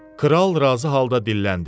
Kral razı halda dilləndi.